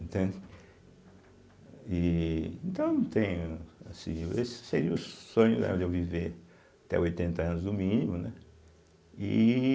Entende. E, então, eu não tenho, assim, esse seria o sonho da eu viver até os oitenta anos, no mínimo, né? e